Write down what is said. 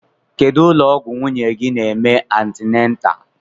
Kedụ ụlọ ọgwụ nwunye gị n'eme antinatal?